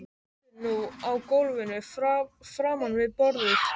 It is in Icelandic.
Stendur nú á gólfinu framan við borðið.